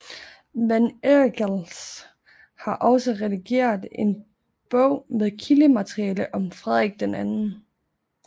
Van Eickels har også redigeret en bog med kildemateriale om Frederik 2